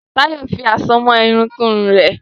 Tayo fí Àsomọ́ Irun kun Irun rẹ.